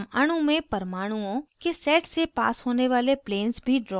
हम अणु में परमाणुओं के set से पास होने वाले planes भी draw कर सकते हैं